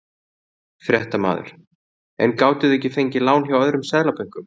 Fréttamaður: En gátuð þið ekki fengið lán hjá öðrum Seðlabönkum?